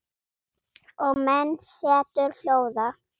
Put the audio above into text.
Og menn setur hljóða.